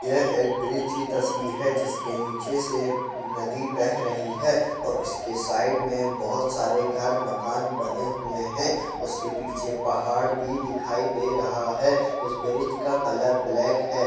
ये एक ब्रिज की तस्वीर है जिसके नीचे से नदी बह रही है और इसके साइड में बहोत सारे घर मकान बने हुए हैं उसके पीछे पहाड़ भी दिखाई दे रहा है इस ब्रिज का कलर ब्लैक है।